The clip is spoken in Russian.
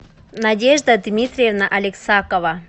надежда дмитриевна алексакова